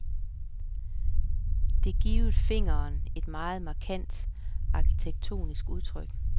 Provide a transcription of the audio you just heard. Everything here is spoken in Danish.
Det givet fingeren et meget markant arkitektonisk udtryk.